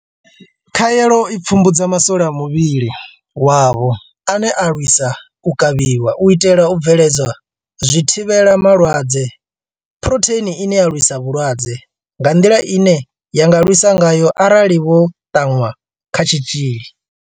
Khaelo i pfumbudza ma swole a muvhili wavho ane a lwisa u kavhiwa, u itela u bveledza zwithivhela malwadze phurotheini ine ya lwisa vhulwadze nga nḓila ine ya nga lwisa ngayo arali vho ṱanwa kha tshitzhili.